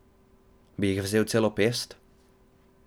Bi jih vzel celo pest?